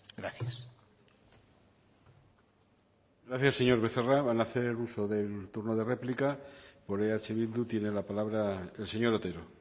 gracias gracias señor becerra van hacer uso del turno de réplica por eh bildu tiene la palabra el señor otero